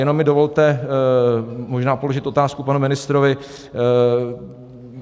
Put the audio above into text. Jenom mi dovolte možná položit otázku panu ministrovi.